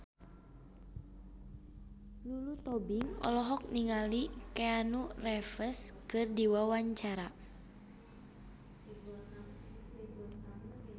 Lulu Tobing olohok ningali Keanu Reeves keur diwawancara